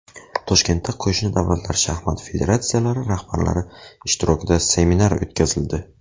Toshkentda qo‘shni davlatlar shaxmat federatsiyalari rahbarlari ishtirokida seminar o‘tkazildi.